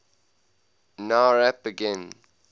nowrap begin